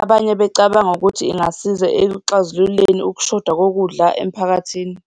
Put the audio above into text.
abanye becabanga ukuthi ingasiza ekuxazululeni ukushoda kokudla emphakathini.